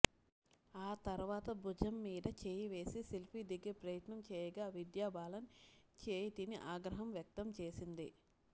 ఆ తర్వాత భుజం మీద చేయివేసి సెల్ఫీ దిగే ప్రయత్నం చేయగా విద్యాబాలన్ చేయి తిని ఆగ్రహం వ్యక్తం చేసింది